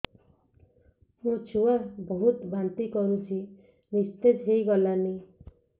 ମୋ ଛୁଆ ବହୁତ୍ ବାନ୍ତି କରୁଛି ନିସ୍ତେଜ ହେଇ ଗଲାନି